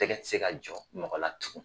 Tɛgɛ ti se ka jɔ mɔgɔ la tugun.